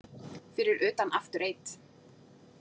Fyrir utan After Eight.